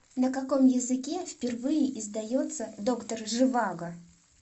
на каком языке впервые издается доктор живаго